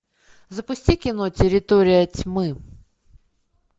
запусти кино территория тьмы